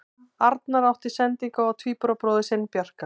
Arnar átti sendingu á tvíburabróðir sinn Bjarka.